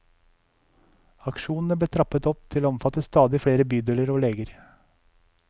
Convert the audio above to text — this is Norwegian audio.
Aksjonene ble trappet opp til å omfatte stadig flere bydeler og leger.